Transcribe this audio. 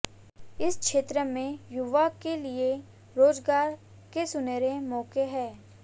इस क्षेत्र में युवाओं के लिए रोजगार के सुनहरे मौके हैं